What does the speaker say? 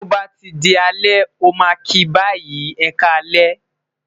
to ba ti di alẹ, o ma ki bayi, e ka alẹ,